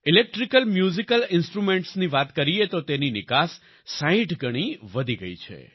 electrical musical ઈન્સ્ટ્રુમેન્ટ્સની વાત કરીએ તો તેની નિકાસ 60 ગણી વધી ગઈ છે